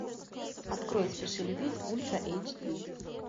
открой спеши любить ультра эйч ди